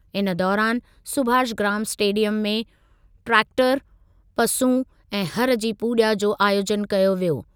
इन दौरानि सुभाषग्राम स्टेडियमु में ट्रैक्टरु, पसूं ऐं हरु जी पूॼा जो आयोजनु कयो वियो।